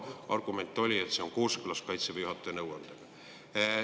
Argument oli, et see on kooskõlas Kaitseväe juhataja nõuandega.